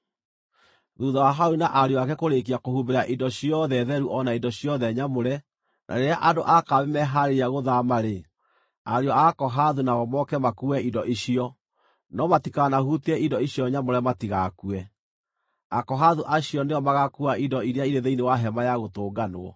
“Thuutha wa Harũni na ariũ ake kũrĩĩkia kũhumbĩra indo ciothe theru o na indo ciothe nyamũre, na rĩrĩa andũ a kambĩ mehaarĩria gũthaama-rĩ, ariũ a Akohathu nao moke makuue indo icio. No matikanahutie indo icio nyamũre matigakue. Akohathu acio nĩo magaakuua indo iria irĩ thĩinĩ wa Hema-ya-Gũtũnganwo.